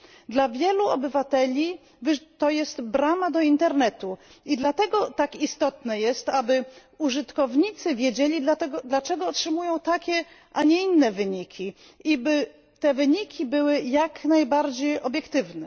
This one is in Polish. Dla wielu obywateli to jest brama do internetu i dlatego tak istotne jest, aby użytkownicy wiedzieli, dlaczego otrzymują takie, a nie inne wyniki i by te wyniki były jak najbardziej obiektywne.